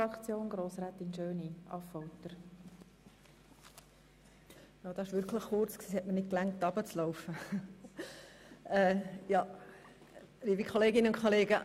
Das Votum war wirklich kurz – es hat mir fast nicht gereicht, um zum Rednerpult zu gelangen.